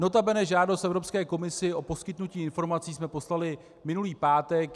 Notabene žádost Evropské komisi o poskytnutí informací jsme poslali minulý pátek.